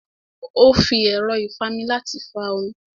Ó fi ẹ̀rọ́ ìfami láti fa omi